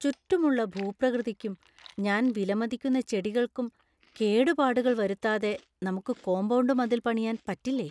ചുറ്റുമുള്ള ഭൂപ്രകൃതിക്കും ഞാൻ വിലമതിക്കുന്ന ചെടികൾക്കും കേടുപാടുകൾ വരുത്താതെ നമുക്ക് കോമ്പൗണ്ട് മതിൽ പണിയാന്‍ പറ്റില്ലേ?